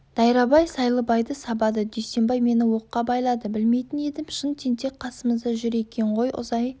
дайрабай сайлыбайды сабады дүйсембай мені оққа байлады білмейтін едім шын тентек қасымызда жүр екен ғой ұзай